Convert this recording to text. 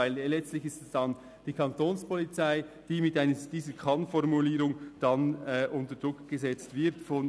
Denn Letztlich wäre es die Kantonspolizei, die durch diese Kann-Formulierung unter Druck gesetzt würde.